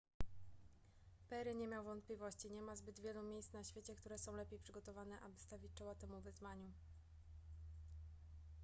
perry nie miał wątpliwości nie ma zbyt wielu miejsc na świecie które są lepiej przygotowane aby stawić czoła temu wyzwaniu